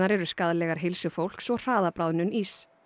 eru skaðlegar heilsu fólks og hraða bráðnun íss